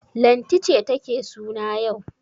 Lanti ce take suna yau.